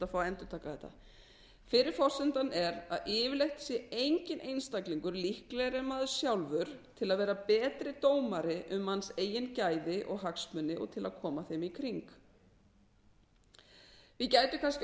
fá að endurtaka þetta fyrri forsendan er að yfirleitt sé enginn einstaklingur líklegri en maður sjálfur til að vera betri dómari um manns eigin gæði og hagsmuni og til að koma þeim í kring við gætum kannski